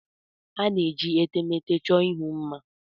A na-eji etemeete chọọ ihu mma.